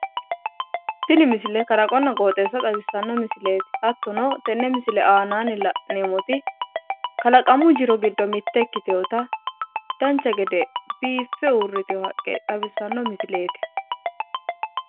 tini misile kalaqonna qooxeessa xawissanno misileeti hattono tenne misile aanaanni la'neemmoti kalaqamu jiro giddo mitte ikkitewoota dancha gede biiffe uurritewo haqqe xawissanno misileeti.